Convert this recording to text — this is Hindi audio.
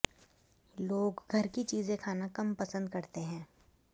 लोग घर की चीजें खाना कम पसंद करते हैं